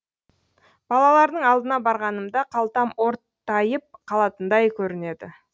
балалардың алдына барғанымда қалтам ортайып қалатындай көрінеді